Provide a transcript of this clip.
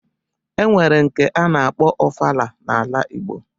E nwere nke a na-akpọ ofala n'ala igbo